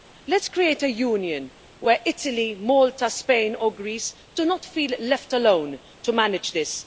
Let's create a Union where Italy, Malta, Spain and Greece do not feel left alone to manage this